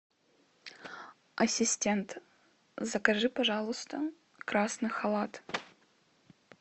ассистент закажи пожалуйста красный халат